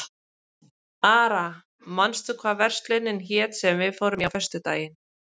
Ara, manstu hvað verslunin hét sem við fórum í á föstudaginn?